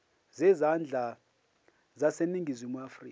zezandla zaseningizimu afrika